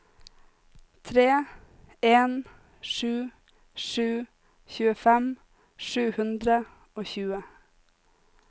tre en sju sju tjuefem sju hundre og tjue